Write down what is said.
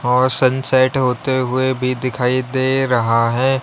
और सनसेट होते हुए भी दिखाई दे रहा है।